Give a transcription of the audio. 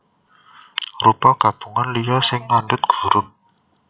Rupa gabungan liya sing ngandhut hurup